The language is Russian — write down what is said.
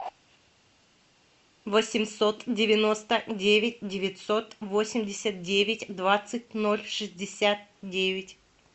восемьсот девяносто девять девятьсот восемьдесят девять двадцать ноль шестьдесят девять